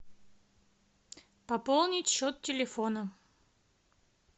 пополнить счет телефона